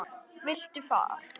Viltu far?